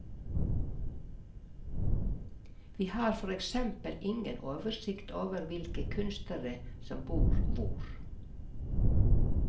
Vi har for eksempel ingen oversikt over hvilke kunstnere som bor hvor.